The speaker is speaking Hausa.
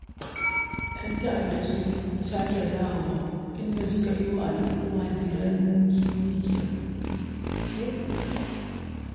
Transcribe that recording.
‘Yan ta’adda sun sake dawowa, inda suka yi wa al’umma dirar mikiya.